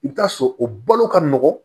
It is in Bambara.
I bɛ taa sɔrɔ o balo ka nɔgɔn